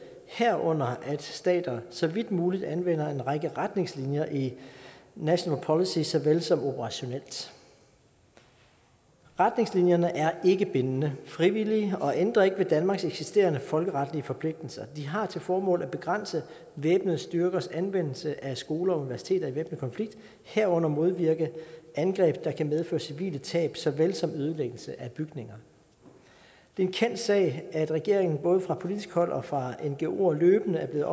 herunder at stater så vidt muligt anvender en række retningslinjer i national policy såvel som operationelt retningslinjerne er ikke bindende de frivillige og ændrer ikke ved danmarks eksisterende folkeretlige forpligtelser de har til formål at begrænse væbnede styrkers anvendelse af skoler og universiteter i væbnet konflikt herunder modvirke angreb der kan medføre civile tab såvel som ødelæggelse af bygninger det er en kendt sag at regeringen både fra politisk hold og fra ngoer løbende er blevet